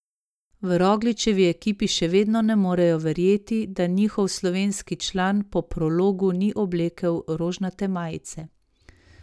V Rogličevi ekipi še vedno ne morejo verjeti, da njihov slovenski član po prologu ni oblekel rožnate majice.